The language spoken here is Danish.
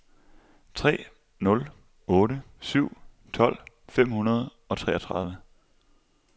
tre nul otte syv tolv fem hundrede og treogtredive